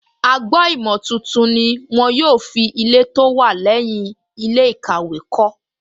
Agbo-ìmọ̀ tuntun ni wọ́n yóò fi Ilẹ̀ tó wà lẹ́yìn ilé ìkàwé kọ́